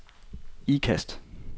Ikast